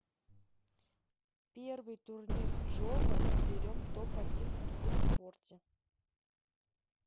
первый турнир джова берем топ один в киберспорте